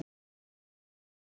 Það er nú eins og það er.